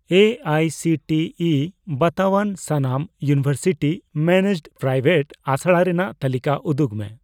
A I C T E ᱵᱟᱛᱟᱣᱟᱱ ᱥᱟᱱᱟᱢ university managed private ᱟᱥᱲᱟ ᱨᱮᱱᱟᱜ ᱛᱟᱞᱤᱠᱟ ᱩᱫᱩᱜᱽ ᱢᱮ ᱾